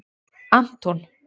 Anton